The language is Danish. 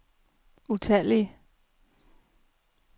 utallige